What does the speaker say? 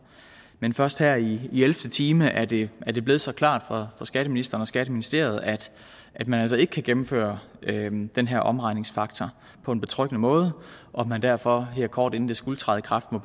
men først her i ellevte time er det er det blevet så klart for skatteministeren og skatteministeriet at at man altså ikke kan gennemføre den den her omregningsfaktor på en betryggende måde og at man derfor her kort inden det skulle træde i kraft må